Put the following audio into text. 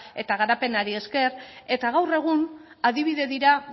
eta garapenari esker eta gaur egun adibide dira